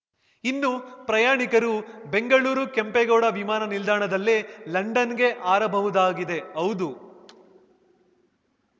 ಇನ್ನು ಪ್ರಯಾಣಿಕರು ಬೆಂಗಳೂರು ಕೆಂಪೇಗೌಡ ವಿಮಾನ ನಿಲ್ದಾಣದಲ್ಲೇ ಲಂಡನ್‌ಗೆ ಹಾರಬಹುದಾಗಿದೆ ಹೌದು